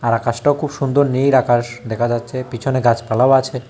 আকাশটাও খুব সুন্দর নীল আকাশ দেখা যাচ্ছে পিছনে গাছপালাও আছে।